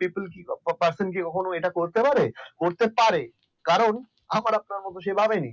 people person কি কখনো এটা করতে পারে করতে পারে কারণ আমার আপনার মত সে ভাবি নি